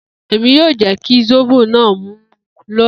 Emi yoo jẹ ki zobo naa mu loni.